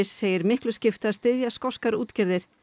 segir miklu skipta að styðja skoskar útgerðir